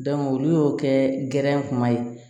olu y'o kɛ gɛrɛnkuma ye